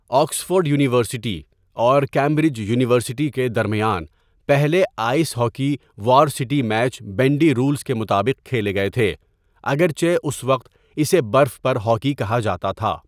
Oxford university اور Cambridge university کے درمیان پہلے ice hockey varsity match bandy rules کے مطابق کھیلے گئے تھے، اگر چہ اس وقت اسے برف پر ہاکی کہا جاتا تھا۔